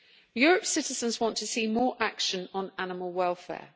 Europe's citizens want to see more action on animal welfare.